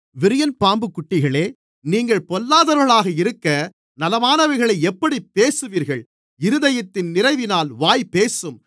விரியன்பாம்புக் குட்டிகளே நீங்கள் பொல்லாதவர்களாக இருக்க நலமானவைகளை எப்படிப் பேசுவீர்கள் இருதயத்தின் நிறைவினால் வாய் பேசும்